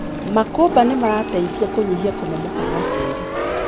Makumba nĩmarateithia kũnyihia kũmomoka gwa tĩri.